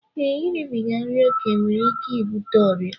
Ee, iribiga nri ókè nwere ike ibute ọrịa